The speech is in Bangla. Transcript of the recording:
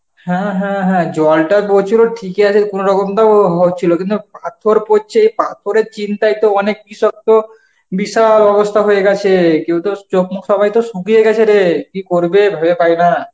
হ্যাঁ হ্যাঁ হ্যাঁ, জলটা পরছিল ঠিকই আছে কোনরকম তাও হচ্ছিল কিন্তু পাথর পরছে পাথরের চিন্তায় তো অনেক কৃষক তো বিশাল অবস্থা হয়ে গেছে, কেউ তো চোখ মুখ সবাই তো শুকিয়ে গেছে রে. কি করবে ভেবে পাইনা.